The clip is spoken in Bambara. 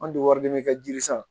An tɛ wari di ma kɛ jiri san